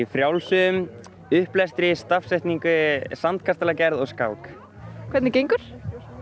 frjálsum upplestri stafsetningu sandkastalagerð og skák hvernig gengur